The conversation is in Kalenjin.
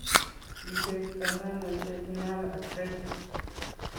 Kikerto nano Jejunal atresia?